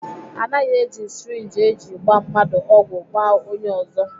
Anaghị eji syrinji eji gbaa mmadụ ọgwụ gbaa onye ọzọ.